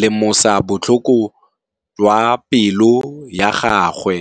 lemosa botlhoko jwa pelô ya gagwe.